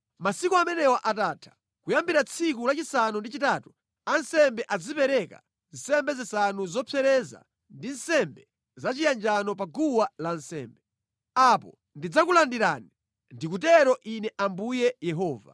Masiku amenewa atatha, kuyambira tsiku lachisanu ndi chitatu, ansembe azipereka nsembe zanu zopsereza ndi nsembe zachiyanjano pa guwa lansembe. Apo ndidzakulandirani. Ndikutero Ine Ambuye Yehova.”